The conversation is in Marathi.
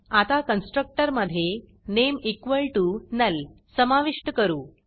आता कन्स्ट्रक्टर मधे नामे नुल समाविष्ट करू